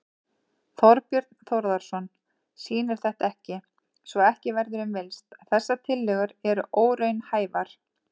Þorbjörn Þórðarson: Sýnir þetta ekki, svo ekki verður um villst, að þessar tillögur eru óraunhæfar?